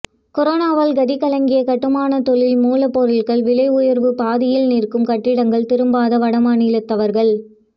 கொரோனாவால் கதிகலங்கிய கட்டுமான தொழில் மூலப்பொருட்கள் விலை உயர்வு பாதியில் நிற்கும் கட்டிடங்கள் திரும்பாத வடமாநிலத்தவர்கள்